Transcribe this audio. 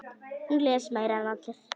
Hún les meira en allir.